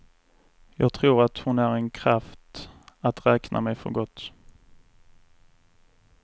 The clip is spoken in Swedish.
Jag tror att hon är en kraft att räkna med för gott.